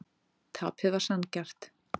Tapið var sanngjarnt.